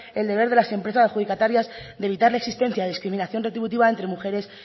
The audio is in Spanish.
el deber de las empresas adjudicatarias de evitar la existencia de discriminación retributiva entre mujeres